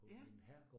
Ja